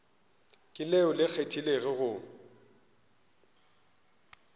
ke leo le kgethegilego go